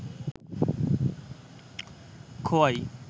Khowai